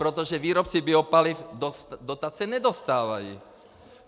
Protože výrobci biopaliv dotace nedostávají.